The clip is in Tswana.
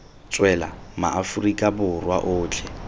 tswela ma aforika borwa otlhe